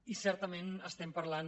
i certament estem parlant